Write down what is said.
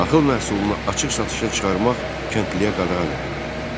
Taxıl məhsulunu açıq satışa çıxarmaq kəndliyə qadağan edildi.